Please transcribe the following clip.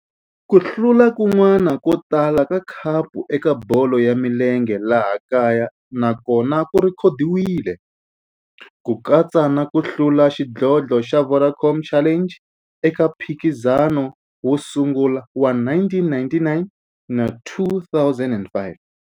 Ku hlula kun'wana ko tala ka khapu eka bolo ya milenge ya laha kaya na kona ku rhekhodiwile, ku katsa na ku hlula ka xidlodlo xa Vodacom Challenge eka mphikizano wo sungula wa 1999 na 2005.